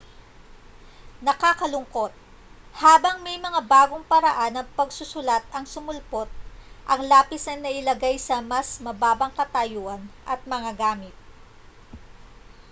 nakalulungkot habang may mga bagong paraan ng pagsusulat ang sumulpot ang lapis ay nailagay sa mas mababang katayuan at mga gamit